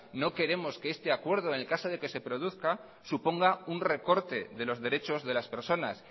no queremos que ese acuerdo en caso de que se produzca suponga un recorte de los derechos de las personas